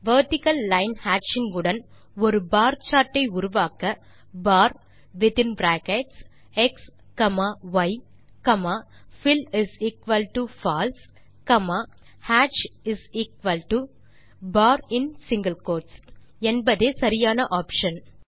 vertical line ஹேட்சிங் உடன் ஒரு பார் சார்ட் ஐ உருவாக்க bar within bracket x comma y comma fillFalse comma hatchin single quote| என்பதே சரியான ஆப்ஷன்